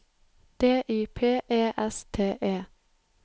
D Y P E S T E